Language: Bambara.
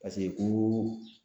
Pase koo